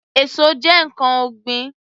Èso jẹ́ ǹkan ọ̀gbìn